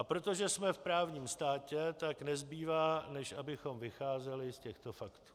A protože jsme v právním státě, tak nezbývá, než abychom vycházeli z těchto faktů.